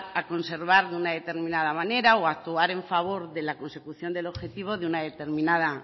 a conservar de una determinada manera o a actuar en favor de la consecución del objetivo de una